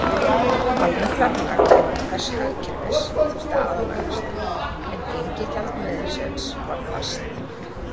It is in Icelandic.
Almennt verðlag innan hvers hagkerfis þurfti að aðlagast, en gengi gjaldmiðilsins var fast.